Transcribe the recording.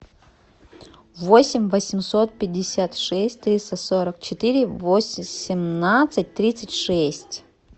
восемь восемьсот пятьдесят шесть триста сорок четыре восемнадцать тридцать шесть